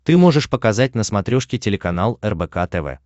ты можешь показать на смотрешке телеканал рбк тв